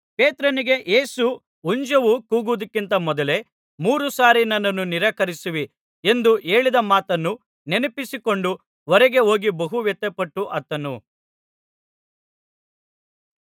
ಪೇತ್ರನಿಗೆ ಯೇಸು ಹುಂಜವೂ ಕೂಗುವುದಕ್ಕಿಂತ ಮೊದಲೇ ಮೂರು ಸಾರಿ ನನ್ನನ್ನು ನಿರಾಕರಿಸುವಿ ಎಂದು ಹೇಳಿದ ಮಾತನ್ನು ನೆನಪಿಸಿಕೊಂಡು ಹೊರಗೆ ಹೋಗಿ ಬಹು ವ್ಯಥೆಪಟ್ಟು ಅತ್ತನು